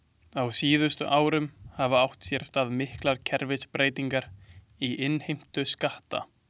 Á síðustu árum hafa átt sér stað miklar kerfisbreytingar í innheimtu skatta.